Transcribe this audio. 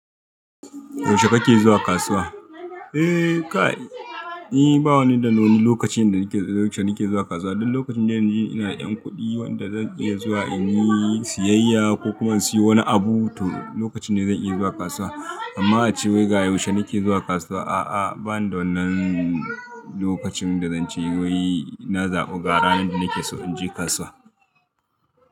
Yaushe kake zuwa kasuwa? Eh kai, ni bawa ni da wani lokacin da nake zuwa kasuwa. Duk lokacin da ina da ƴan kuɗi wanda zan iya zuwa in yi siyayya ko kuma in siyo wani abu to lokacin ne zan iya zuwa kasuwa. Amma a ce wai ga yaushe nake zuwa kasuwa, a'a bani da wannan lokacin da zance wai na zaɓi ga ranar da nake so in je kasuwa.